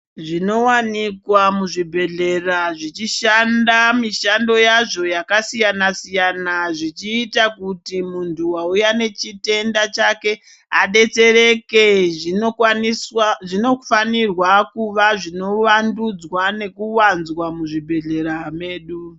Zvinowanikwa muzvibhedhlera zvichishanda mishando yazvo yakasiyana siyana zvichiita kuti muntu wauya nechitenda chake adetsereke zvinokwaniswa zvinofanirwa kuva zvinowandudzwa nekuwanzwa muzvibhedhlera medu.